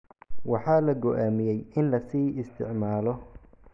waxaa la go'aamiyay in la sii isticmaalo.